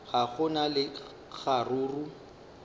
ga go na le kgaruru